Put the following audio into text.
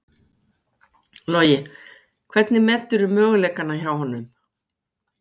Logi: Hvernig meturðu möguleikana hjá honum?